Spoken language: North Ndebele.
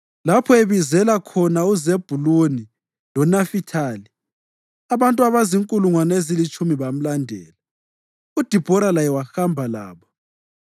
lapho abizela khona uZebhuluni loNafithali. Abantu abazinkulungwane ezilitshumi bamlandela. UDibhora laye wahamba labo.